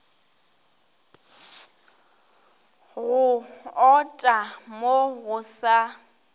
go ota mo go sa